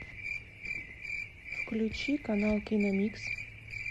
включи канал киномикс